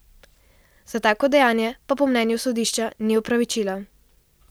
Za tako dejanje pa po mnenju sodišča ni opravičila.